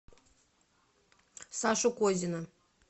сашу козина